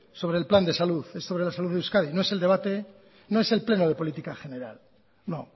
sobre el plan de salud es sobre la salud de euskadi no es el debate no es el pleno de política general no